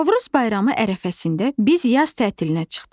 Novruz bayramı ərəfəsində biz yaz tətilinə çıxdıq.